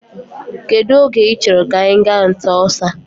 Kedụ oge i chọrọ ka anyị gaa nta ọsa.